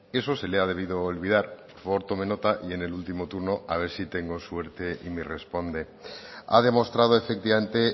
eso se le ha debido olvidar por favor tome nota y en el último turno a ver si tengo suerte y me responde ha demostrado efectivamente